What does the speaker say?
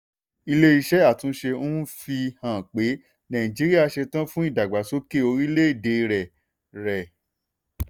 ilé iṣẹ́ àtúnṣe ń fi hàn pé nàìjíríà ṣetan fún ìdàgbàsókè orílẹ̀-èdè rẹ̀. rẹ̀.